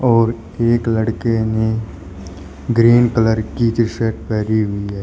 और एक लड़के ने ग्रीन कलर की जो शर्ट पहनी हुई है।